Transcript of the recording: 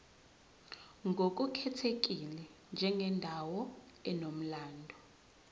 ngokukhethekile njengendawo enomlando